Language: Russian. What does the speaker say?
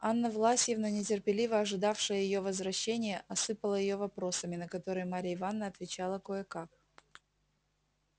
анна власьевна нетерпеливо ожидавшая её возвращения осыпала её вопросами на которые марья ивановна отвечала кое-как